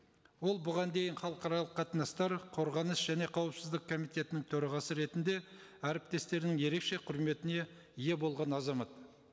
ол бұған дейін халықаралық қатынастар қорғаныс және қауіпсіздік комитетінің төрағасы ретінде әріптестерінің ерекше құрметіне ие болған азамат